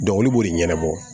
olu b'o de ɲɛnabɔ